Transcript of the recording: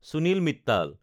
Sunil Mittal